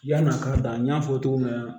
Yann'a ka da n y'a fɔ cogo min na